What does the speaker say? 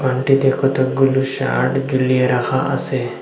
ঘরটিতে কতগুলো শার্ট ঝুলিয়ে রাখা আছে।